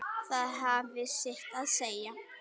Það hafði sitt að segja.